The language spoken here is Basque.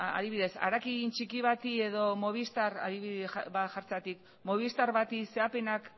adibidez harakin txiki bati edo adibide bat jartzeagatik movistar bati zehapenak